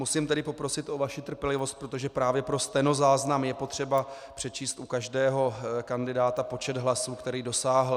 Musím tedy poprosit o vaši trpělivost, protože právě pro stenozáznam je potřeba přečíst u každého kandidáta počet hlasů, který dosáhl.